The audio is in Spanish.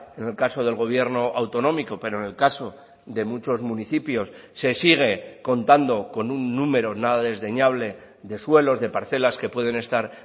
en el caso del gobierno autonómico pero en el caso de muchos municipios se sigue contando con un número nada desdeñable de suelos de parcelas que pueden estar